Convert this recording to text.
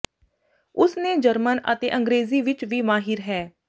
ਉਸ ਨੇ ਜਰਮਨ ਅਤੇ ਅੰਗਰੇਜ਼ੀ ਵਿੱਚ ਵੀ ਮਾਹਿਰ ਹੈ